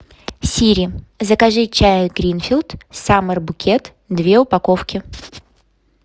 сири закажи чай гринфилд саммер букет две упаковки